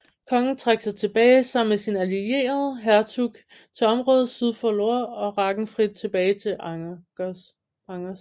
Kongen trak sig tilbage sammen med sin allierede hertug til området syd for Loire og Ragenfrid tilbage til Angers